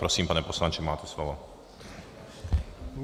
Prosím, pane poslanče, máte slovo.